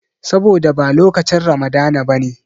Saboda ba lokacin Ramadana ba ne.